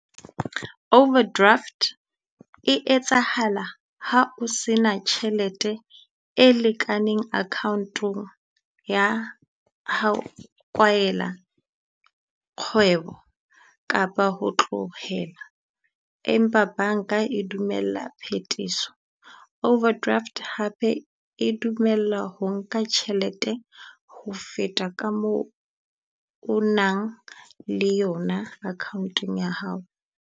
Overdraft e etsahala ha o se na tjhelete e lekaneng account-ong ya ha o kwaela kgwebo, kapa ho tlohela. Empa banka e dumella phethiso, overdraft hape e dumela ho nka tjhelete ho feta ka moo o nang le yona account-eng ya hao.